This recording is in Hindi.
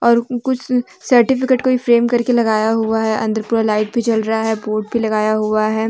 और कुछ सर्टिफिकेट कोइ फ्रेम करके लगाया हुआ है अंदर पूरा लाइट भी जल रहा है बोर्ड भी लगाया हुआ है।